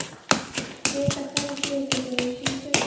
Fita hverrar dýrategundar hefur sín sérkenni.